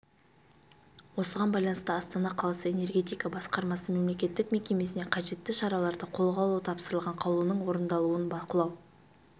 осыған байланысты астана қаласы энергетика басқармасы мемлекеттік мекемесіне қажетті шараларды қолға алу тапсырылған қаулының орындалуын бақылау